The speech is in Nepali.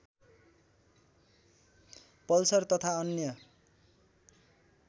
पल्सर तथा अन्य